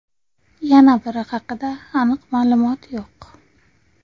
Yana biri haqida aniq ma’lumot yo‘q.